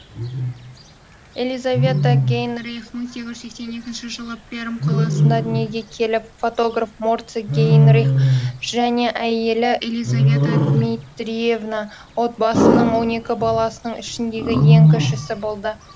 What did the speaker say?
елизавета гейнрих мың сегіз жүз сексен екінші жылы пермь қаласында дүниеге келіп фотограф морци гейнрих және әйелі елизавета дмитриевна отбасының он екі баласының ішіндегі ең кішісі болды